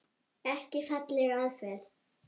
Ekki falleg aðferð.